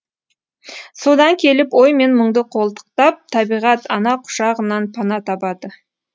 содан келіп ой мен мұңды қолтықтап табиғат ана құшағынан пана табады